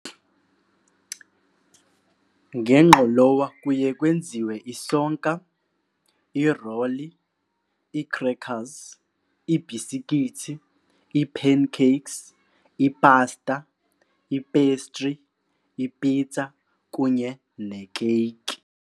Ngengqolowa kuye kwenziwe isonka, iroli, ii-crackers, iibhisikitsi, ii-pancakes, ipasta, ipestri, ipitsa kunye nekeyiki.